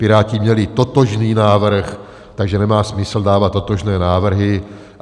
Piráti měli totožný návrh, takže nemá smysl dávat totožné návrhy.